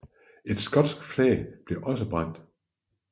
Et skotsk flag blev også brændt